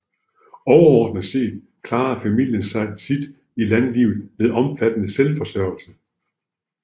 Overordnet set klarede familien sit i landlivet ved omfattende selvforsørgelse